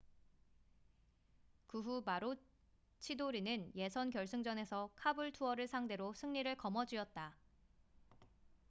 그 후 마로치도르는 예선 결승전에서 카불투어를 상대로 승리를 거머쥐었다